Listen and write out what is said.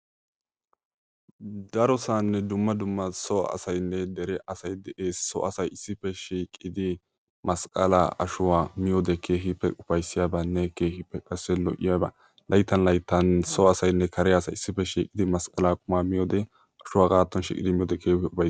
Darossaanne dumma dumma so asaynne dere asay de'ees. So asay issippe shiiqidi masqqaalaa ashuwa miyode keehippe ufayssiyabanne keehippe qassi lo''iyaba layttan layttan so asaynne kare asay issippe shiiqidi masqqaalaa qumaa miyode ashuwa haagatton shiiqidi miyode keehippe ufayssiyaba.